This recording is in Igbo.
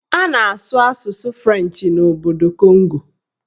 A na-asụ asụsụ Frenchị n'obodo Kongo